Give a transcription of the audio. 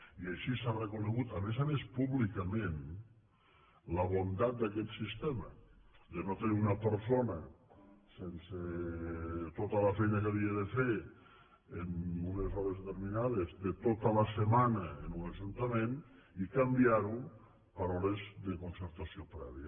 i així s’ha reconegut a més a més públicament la bondat d’aquest sistema de no tenir una persona sense tota la feina que havia de fer en unes hores determinades de tota la setmana en un ajuntament i canviar ho per hores de concertació prèvia